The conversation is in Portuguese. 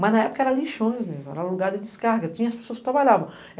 Mas na época era lixões mesmo, era lugar de descarga, tinha as pessoas que trabalhavam.